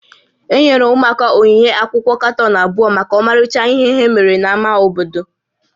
Enyere ótú ụmụaka onyinye akwụkwọ katọn abụọ maka ọmarịcha ihe ha mere n'ámá obodo